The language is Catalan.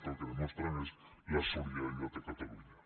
que el que demostren és la solidaritat de catalunya